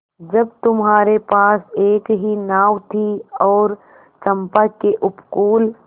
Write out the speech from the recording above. जब तुम्हारे पास एक ही नाव थी और चंपा के उपकूल